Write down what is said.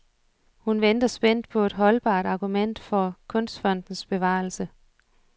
Hun venter spændt på et holdbart argument for kunstfondens bevarelse.